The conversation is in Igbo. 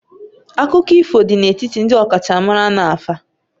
Akụkọ ifo dị n'etiti ndị ọkachamara na afa